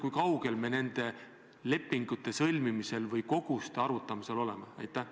Kui kaugel me nende lepingute sõlmimisel või koguste arvutamisel oleme?